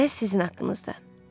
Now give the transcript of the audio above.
Məhz sizin haqqınızda.